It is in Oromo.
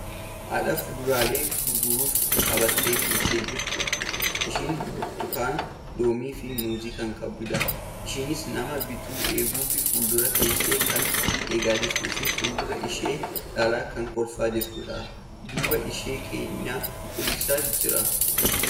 Haadha fuduraalee gurguruuf qabattee teessee jirtudha. Isheenis burtukaana, loomiifi muuzii kan qabdudha. Isheenis nama bitu eeguuf fuldura teessee kan eegaa jirtufi fuldura ishee laalaa kan kolfaa jirtudha. Duuba ishees keenyaa cuquliisatu jira.